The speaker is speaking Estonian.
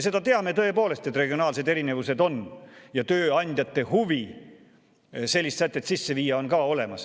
Me teame tõepoolest, et regionaalsed erinevused on ja tööandjate huvi sellist sätet sisse viia on ka olemas.